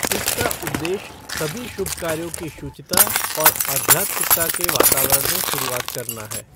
इसका उद्देश्य सभी शुभ कार्यों की शुचिता और आध्यात्मिकता के वातावरण में शुरुआत करना है।